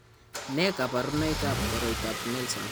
Nee kabarunoikab koroitoab Nelson.